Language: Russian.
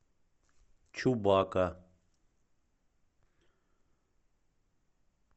чубака